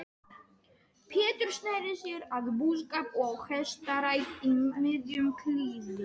Pétur sneri sér að búskap og hestarækt í miðjum klíðum.